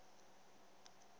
ge a ka se je